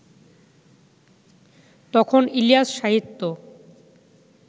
তখন ইলিয়াস-সাহিত্য